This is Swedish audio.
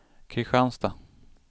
Kristianstad